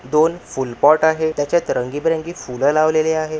दोन फूल पॉट त्याच्यात रंगी-बिरंगी फूल लावलेले आहे.